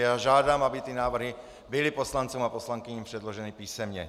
Já žádám, aby ty návrhy byly poslancům a poslankyním předloženy písemně.